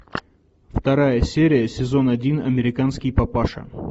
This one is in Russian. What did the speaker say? вторая серия сезон один американский папаша